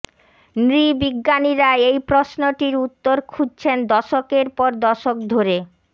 নৃবিজ্ঞানীরা এই প্রশ্নটির উত্তর খুঁজছেন দশকের পর দশক ধরে